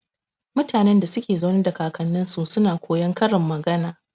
Mutanen da suke zaune da kaknninsu suna koyar karin magana.